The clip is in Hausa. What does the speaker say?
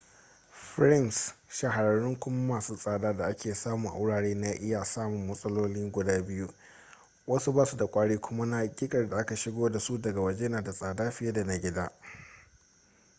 frames shahararrun kuma masu tsada da ake samu a wuraren na iya samun matsaloli guda biyu wasu basu da kwari kuma na hakikar da aka shigo da su daga waje na da tsada fiye da na gida